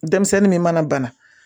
Denmisɛnnin min mana bana